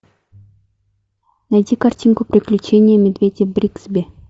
найти картинку приключения медведя бригсби